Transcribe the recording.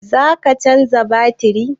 Za ka canza batiri?